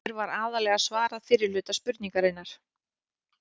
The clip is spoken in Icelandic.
Hér var aðallega svarað fyrri hluta spurningarinnar.